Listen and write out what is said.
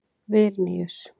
Vilníus